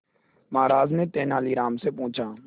महाराज ने तेनालीराम से पूछा